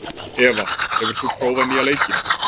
Eva, hefur þú prófað nýja leikinn?